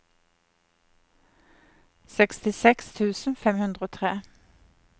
sekstiseks tusen fem hundre og tre